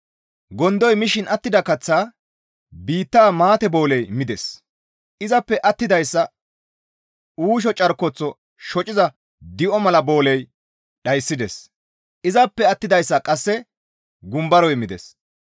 Gondoy mishin attida kaththaa biitta maate booley mides; izappe attidayssa uusho carkoththo shociza di7o mala booley dhayssides; izappe attidayssa qasse gumbaroy mides.